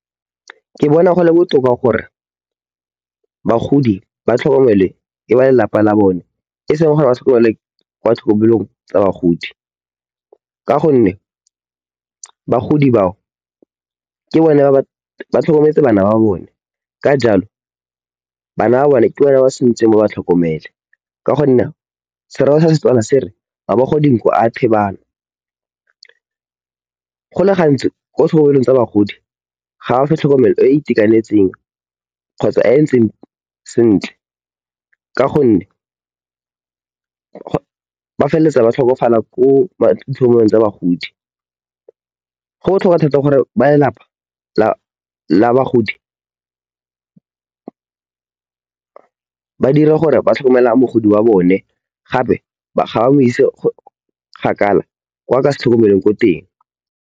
Ke bona gole botoka gore bagodi ba tlhokomele ke ba lelapa la bone e seng gore ba tlhokomele kwa tlhokomelong tsa bagodi. Ka gonne, bagodi bao ke bone ba ba tlhokometse bana ba bone. Ka jalo, bana ba bone ke bona ba sa ntseng ba ba tlhokomele. Ka gonne serero sa setswana se re "mabogo dinko a thibana" go le gantsi ko sekolong tsa bagodi, ga ba fe tlhokomelo e e itekanetseng kgotsa e entseng sentle. Ka gonne, ba feleletsa ba tlhokafala ko tsa bagodi. Go botlhokwa thata gore ba lelapa la bagodi ba dire gore ba tlhokomela mogodi wa bone gape ga ba mo ise kgakala kwa a ka se tlhokomelweng ko teng.